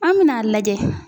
An mina a lajɛ.